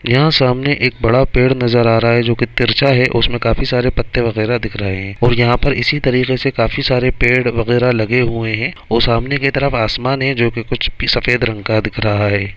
यहाँ सामने एक बड़ा पेड़ नज़र आ रहा है जो की तिरछा है उसमे काफी सारे पत्ते वगेरह दिख रहे है और यहाँ पर इसी तरीके से काफी सारे पेड़ वगेरह लगे हुए है ओ सामने के तरफ आसमान हैं जो की कुछ पी सफेद रंग का दिख रहा है।